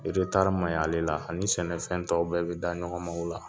eretari maɲi alela ani sɛnɛfɛn tɔw bɛɛ be da ɲɔgɔnma ola